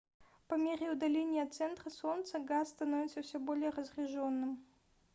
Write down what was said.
по мере удаления от центра солнца газ становится все более разряжённым